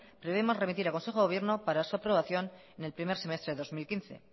prevemos remitir a consejo de gobierno para su aprobación en el primer semestre de dos mil quince